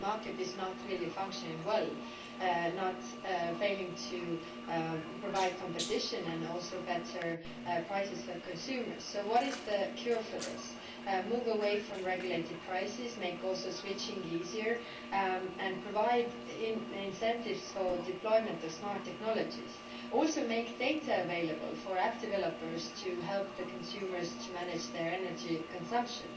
The market is not really functioning well and is failing to provide competition and also better prices for consumers. So what is the cure for this? We must move away from regulated prices, make switching easier, and provide incentives for the deployment of smart technologies. Also, we must make data available for app developers to help consumers to manage their energy consumption.